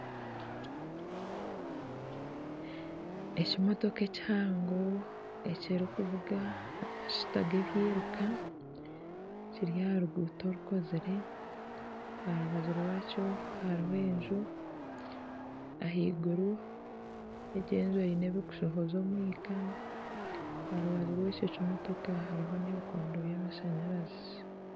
Ekimotoka ekihango ekirikuvuga amashuta g'ebyiruka kiri aha ruguuto orukozire aha rubaju rwakyo hariho enju , ah'eiguru egi enju eine ebikushohoza omwika . Aha rubaju rwekyo kimotoka hariho n'ebikondo by'amashanyarazi.